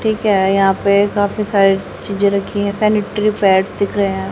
ठीक है यहां पे काफी सारी चीजें रखी है सेनेटरी पैड दिख रहे हैं।